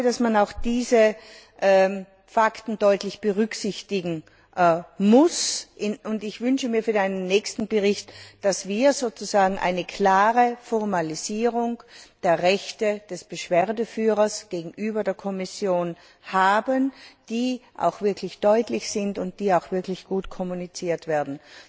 Ich glaube, dass man auch diese Fakten deutlich berücksichtigen muss. Ich wünsche mir für meinen nächsten Bericht, dass wir sozusagen eine klare Formalisierung der Rechte des Beschwerdeführers gegenüber der Kommission haben, die auch wirklich deutlich sind und die auch wirklich gut kommuniziert werden.